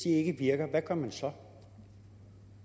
ikke virker hvad gør man så